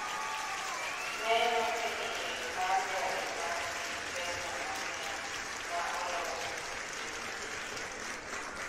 Neno e iye mar gari ma nigi pesa mang’eny ma olosi e piny India